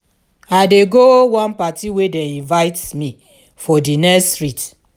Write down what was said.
i dey go one party wey dem invite me for di next street